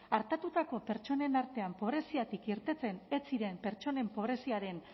artatutako pertsonen artean pobreziatik irteten ez ziren pertsonen pobreziaren